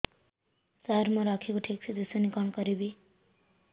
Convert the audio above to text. ସାର ମୋର ଆଖି କୁ ଠିକସେ ଦିଶୁନି କଣ କରିବି